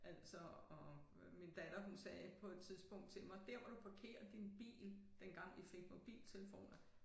Altså og min datter hun sagde på et tidspunkt til mig dér hvor du parkerer din bil dengang vi fik mobiltelefoner